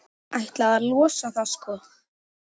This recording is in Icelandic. Ætlaði að losa það, sko.